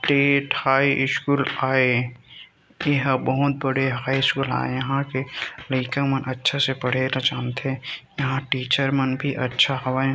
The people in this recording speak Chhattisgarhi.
स्टेट हाई स्कूल आए एहा बहुत बड़े हाई स्कूल आए यहाँ के लईका मन अच्छा से पढ़े ल जानथे यहाँ टीचर मन भी अच्छा हवय।